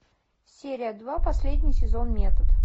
серия два последний сезон метод